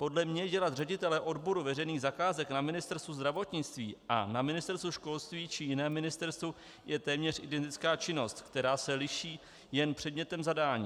Podle mě dělat ředitele odboru veřejných zakázek na Ministerstvu zdravotnictví a na Ministerstvu školství či jiném ministerstvu je téměř identická činnost, která se liší jen předmětem zadání.